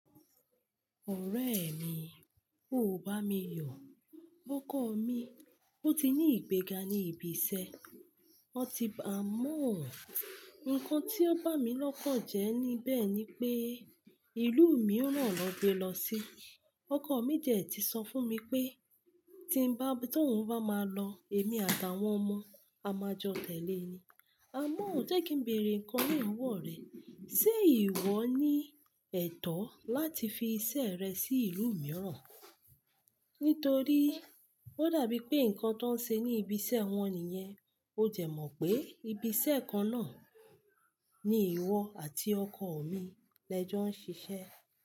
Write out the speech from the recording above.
Ọ̀rẹ́ mi, o ò bá mi yo. Ọkọ mi, ó ti ní ìgbéga ní ibi iṣẹ́, ó ti bàá mo ǹkan tí ó bá mi lọ́kàn jẹ ní bẹ́ẹ̀ ni pé, ìlú mìíràn niwon gbe lọ sí. Ọkọ mi ti ẹ̀ ti sọ fún mi pé tí nbá, tóun bá máa lọ, èmi àtàwọn ọmọ a máa jọ tẹ̀lé e ni. Àmọ́ jẹ́ kí n bèèrè ǹkan na ni owọ rẹ, ṣé ìwọ ní ẹ̀tọ́ láti fi iṣẹ́ rẹ sí ìlú mìíràn? Nítorí ó dàbí pé ǹkan tó ń ṣe ní ibi iṣẹ́ wọn nìyẹn. Ó de mọ̀ pé ibi iṣẹ́ kan náà ni ìwọ àti ọkọ mi lẹ jọ ń ṣiṣẹ́